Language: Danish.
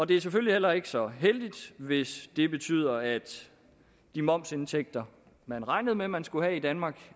det er selvfølgelig heller ikke så heldigt hvis det betyder at de momsindtægter man regnede med man skulle have i danmark